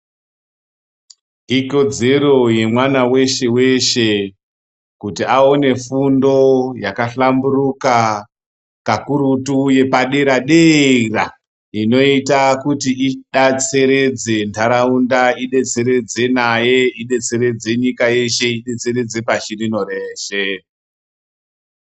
Ikodzero yemwana weshe weshe kuti aone fundo yakahlamburuka kakurutu yepadera dera inoita kuti idatseredze ntaraunda, idetseredze naye, idetseredze nyika yeshe, idetseredze pashirino reshe .